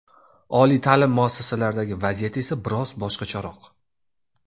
Oliy ta’lim muassasalaridagi vaziyat esa biroz boshqacharoq.